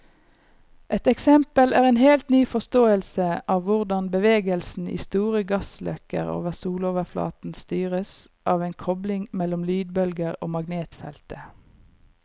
Et eksempel er en helt ny forståelse av hvordan bevegelsen i store gassløkker over soloverflaten styres av en kobling mellom lydbølger og magnetfeltet.